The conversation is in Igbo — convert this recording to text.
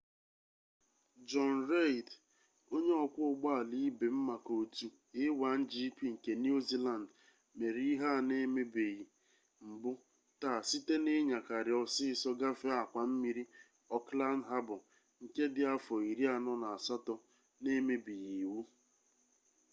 jọni reid onye ọkwọ ụgbọala ibe m maka otu a1gp nke niu ziland mere ihe a na-emebeghi mbụ taa site na-inyakari ọsịsọ gafee akwa mmiri ọkland habọ nke dị afọ iri anọ na asatọ na-emebighị iwu